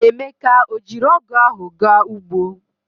Emeka o jiri ogu ahu ga ugbo?